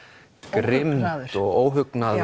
grimmd og óhugnaður